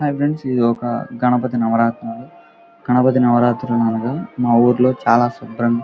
hi friends ఇది ఒక గణపతి నవరత్న గణపతి నవరాత్రి మా ఊరులో చాలా శుభ్రంగా --